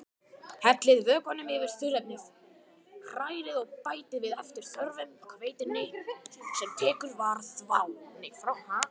Hellið vökvanum yfir þurrefnin, hrærið og bætið við eftir þörfum hveitinu sem tekið var frá.